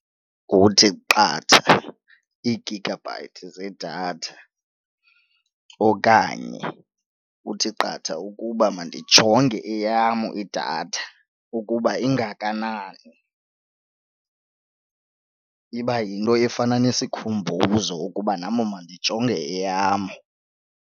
Kuthi qatha ii-gigabyte zedatha okanye kuthi qatha ukuba mandijonge eyam idatha ukuba ingakanani. Iba yinto efana nesikhumbuzo ukuba nam mandijonge eyam.